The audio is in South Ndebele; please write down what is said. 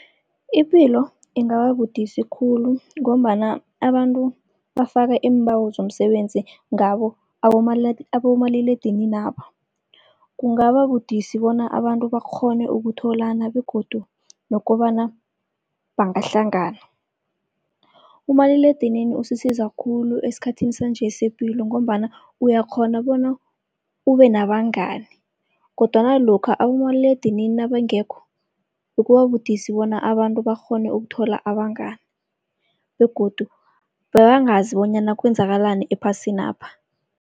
Ipilo ingababudisi khulu, ngombana abantu bafaka iimbawo zomsebenzi ngabo abomaliledininaba. Kungaba budisi bona abantu bakghone ukutholana begodu nokobana bangahlangana. Umaliledinini usisiza khulu esikhathini sanje sepilo, ngombana uyakghona bona ube nabangani, kodwana lokha abomaliledinini nabangekho bekuba budisi bona abantu bakghone ukuthola abangani. Begodu bebangazi bonyana kwenzakalani ephasinapha.